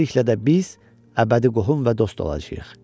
Beləliklə də biz əbədi qohum və dost olacağıq.